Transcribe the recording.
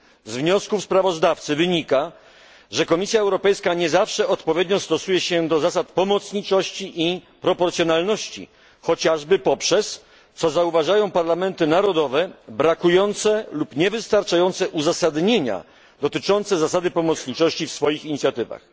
Z wniosków sprawozdawcy wynika, że Komisja Europejska nie zawsze odpowiednio stosuje się do zasad pomocniczości i proporcjonalności chociażby poprzez, co zauważają parlamenty narodowe, brakujące lub niewystarczające uzasadnienia dotyczące zasady pomocniczości w swoich inicjatywach.